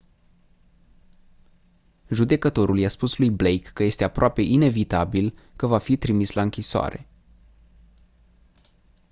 judecătorul i-a spus lui blake că este «aproape inevitabil» că va fi trimis la închisoare.